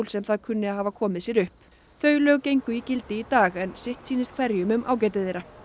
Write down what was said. sem það kunni að hafa komið sér upp þau lög gengu í gildi í dag en sitt sýnist hverjum um ágæti þeirra